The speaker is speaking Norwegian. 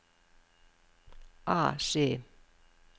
AC